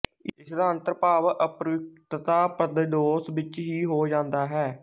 ਇਸਦਾ ਅੰਤਰਭਾਵ ਅਪ੍ਰਯੁਕਤਤਾ ਪਦਦੋਸ਼ ਵਿੱਚ ਹੀ ਹੋ ਜਾਂਦਾ ਹੈ